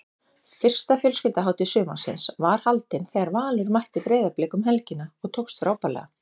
Fyrsta fjölskylduhátíð sumarsins var haldin þegar Valur mætti Breiðablik um helgina og tókst frábærlega.